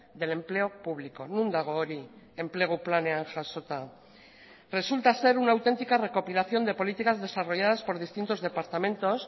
del empleo público non dago hori enplegu planean jasota resulta ser una auténtica recopilación de políticas desarrolladas por distintos departamentos